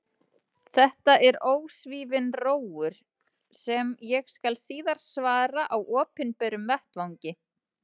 Þetta er ósvífinn rógur, sem ég skal síðar svara á opinberum vettvangi.